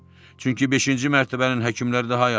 Çünki beşinci mərtəbənin həkimləri daha yaxşıdır.